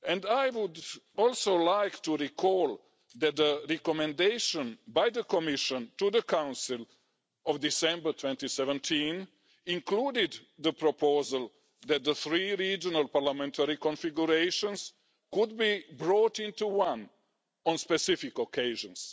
I would also like to recall that the recommendation by the Commission to the Council of December 2017 included the proposal that the three regional parliamentary configurations could be brought into one on specific occasions.